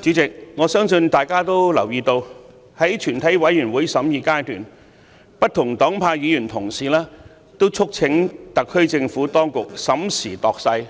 主席，我相信大家都留意到，在全體委員會審議階段，不同黨派議員同事都促請特區政府當局審時度勢，